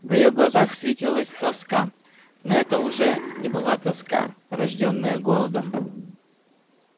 в её глазах светилась тоска но это уже не была тоска рождённая голодом